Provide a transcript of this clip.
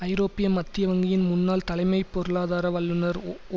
ஐரோப்பிய மத்திய வங்கியின் முன்னாள் தலைமை பொருளாதார வல்லுனர் ஒ